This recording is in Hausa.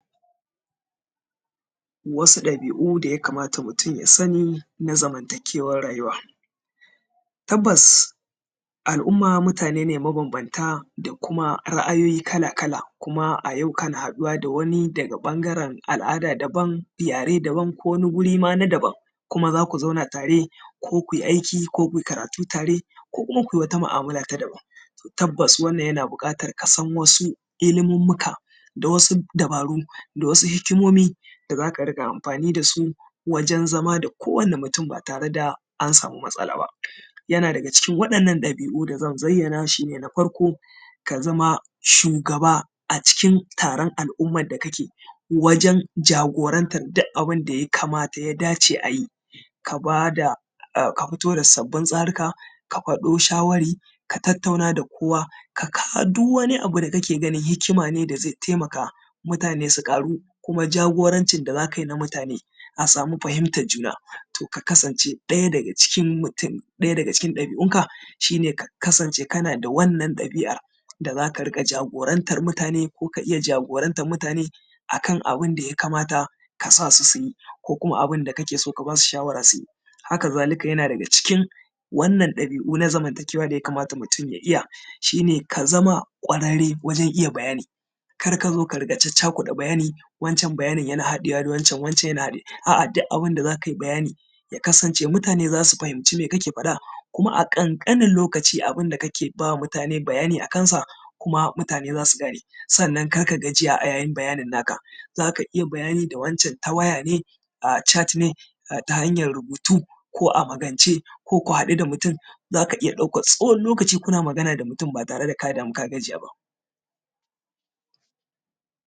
wasu ɗabiu da mutum ya kamata ya sani na zamantakewar rayuwa tabbas al’umma mutane ne mabambanta da kuma ra’ayoyi kala kala kuma a yau kana haɗuwa da wani daga ɓangaren al’ada daban yare daban ko wani guri ma na daban kuma za ku zauna tare ko ku yi aiki ko ku yi karatu tare ko kuma ku yi wata mu’amala ta daban tabbas wannan yana buƙatar ka san wasu ilimummuka da wasu dabaru da wasu hikimomi da za ka riƙa amfani da su wajen zama da kowane mutum ba tare da an samu matsala ba yana daga cikin waɗannan ɗabiu da zan zayyana shi ne na farko ka zama shugaba a cikin taron al’ummar da kake wajen jagorantar duk abin da ya kamata ya dace a yi ka fito da sabbin tsaruka ka faɗo shawarwari ka tattauna da kowa ka kawo duk wani abu da kake ganin hikima ne da zai taimaka mutane su ƙaru kuma jagorancin da za ka yi na mutane a samu fahimtar juna to ka kasance ɗaya daga cikin mutum ɗaya daga cikin ɗabiunka shi ne ka kasance kana da wannan ɗabiar da za ka riƙa jagorantar mutane ko ka iya jagorantar mutane a kan abin da ya kamata ka sa su su yi ko kuma abin da kake so ka ba su shawara su yi haka zalika yana daga cikin wannan ɗabi’u na zamantakewa da ya kamata mutum ya iya shi ne ka zama ƙwararre wajen iya bayani kar ka zo ka riƙa caccakuɗa bayani wancan bayanin yana haɗewa da wancan wancan yana haɗe a’a duk abin da za ka yi bayani bayani ya kasance mutane za su fahimci me kake faɗa kuma a ƙanƙanin lokaci abin da kake ba mutane bayani a kansa kuma za su gane sannan kar ka gajiya a yayin bayanin naka za ka iya bayani da wancan ta waya ne a’a chat ne ta hanyar rubutu ko a magance ko ku haɗu da mutum za ka iya ɗaukar tsawon lokaci ba tare da ka damu ka gajiyawa ba